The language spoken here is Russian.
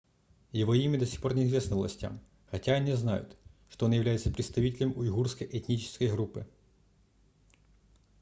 его имя до сих пор не известно властям хотя они знают что он является представителем уйгурской этнической группы